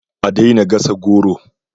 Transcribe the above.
A daina gasa goro